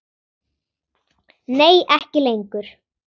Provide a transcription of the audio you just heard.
Nei ekki lengur.